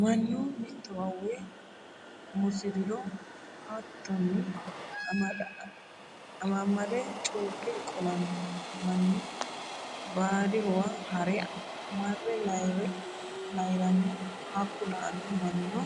Mannu mittowa uwe musiriro hayyoteni amamade cukke qolano manni baadihuwa hare marre layirano hakku la"ano mannino